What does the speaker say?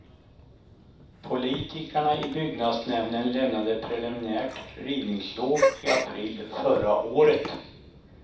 Politikerna i byggnadsnämnden lämnade preliminärt rivningslov i april förra året.